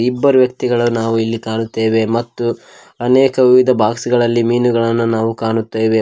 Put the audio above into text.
ಇಬ್ಬರು ವ್ಯಕ್ತಿಗಳನ್ನು ನಾವು ಎಲ್ಲಿ ಕಾಣುತ್ತೇವೆ ಮತ್ತು ಅನೇಕ ಬಾಕ್ಸ್ ಗಳಲ್ಲಿ ಮೀನುಗಳನ್ನು ಕಾಣುತ್ತೇವೆ.